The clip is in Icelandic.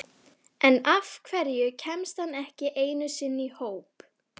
En af hverju kemst hann ekki einu sinni í hóp?